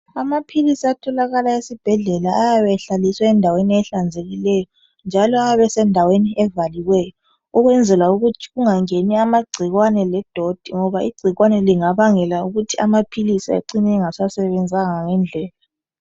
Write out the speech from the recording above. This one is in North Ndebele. amaphilisi atholakala esibhedlela ayabe ehlaliswe endaweni ehlanzekileyo njalo ayabe esendaweni evaliweyo ukwenzela ukuthi angenwa ngamacikwane le doti ngoba icikwane lingabangela ukuthi amaphilisi ecine engasebenzanga ngendlela